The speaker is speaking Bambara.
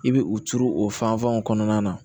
I bɛ u turu o fanfɛnw kɔnɔna na